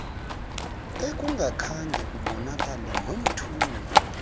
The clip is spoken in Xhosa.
ekungakhange kubonakale nomthungo